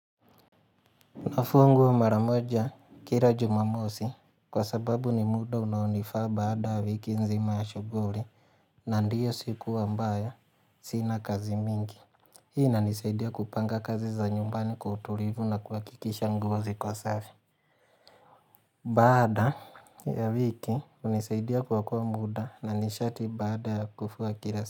Nafua nguo mara moja kila Jumamosi kwa sababu ni muda unaonifaa baada ya wiki nzima ya shuguri na ndio siku ambaya sina kazi mingi. Hii inanisaidia kupanga kazi za nyumbani kwa uturivu na kuakikisha nguo ziko safi. Baada ya wiki hunisaidia kuokoa muda na nishati baada ya kufua kila siku.